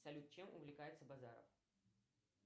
салют чем увлекается базаров